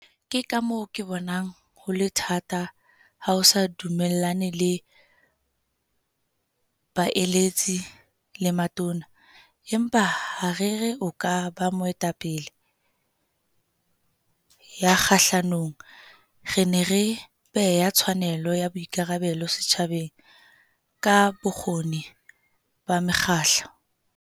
Ke ka moo ke bonang ho le thata ha o sa dumellane le baeletsi le matona, empa ha re re o ka ba mo etapele ya kgahlanong. Re ne re beha tshwanelo ya boikarabelo setjhabeng ka bokgoni ba mekgahlo.